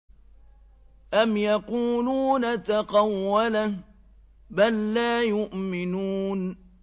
أَمْ يَقُولُونَ تَقَوَّلَهُ ۚ بَل لَّا يُؤْمِنُونَ